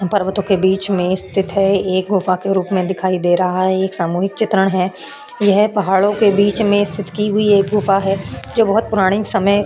पर्वतों के बीच में स्तिथ है एक गुफ़ा के रूप में दिखाई दे रहा है एक सामूहिक चित्रण है यह पहाड़ो के बिच में स्तिथ की हुई एक गुफा है जो बहुत पुराने समय --